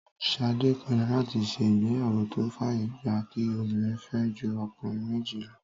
Ṣadé pinnu láti ṣe ìgbéyàwó tó fàyè gba kí obìnrin fẹ́ ju ọkùnrin méjì lọ